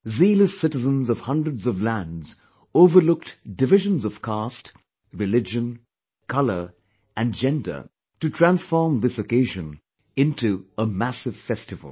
Zealous citizens of hundreds of lands overlooked divisions of caste, religion, region, colour and gender to transform this occasion into a massive festival